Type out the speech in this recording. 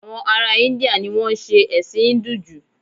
Àwọn ará Íńdíà ni wọn ń ṣe ẹ̀sìn Híńdù jù